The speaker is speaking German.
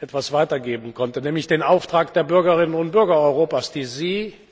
etwas weitergeben konnte, nämlich den Auftrag der Bürgerinnen und Bürger Europas, die